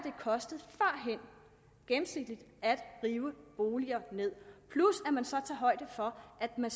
kostet at rive boliger ned plus at man så tager højde for at man